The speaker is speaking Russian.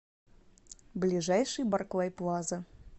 ближайший барклай плаза